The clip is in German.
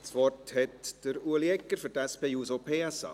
Das Wort hat Ulrich Egger für die SP-JUSO-PSA.